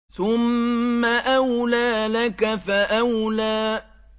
ثُمَّ أَوْلَىٰ لَكَ فَأَوْلَىٰ